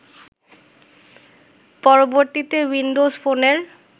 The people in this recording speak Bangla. পরবর্তীতে উইন্ডোজ ফোনের